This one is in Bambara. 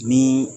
Ni